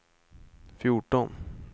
fjorton